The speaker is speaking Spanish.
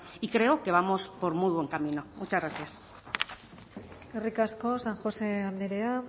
y creo que vamos por muy buen camino muchas gracias eskerrik asko san josé andrea